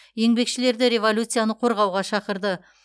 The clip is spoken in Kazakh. еңбекшілерді революцияны қорғауға шақырды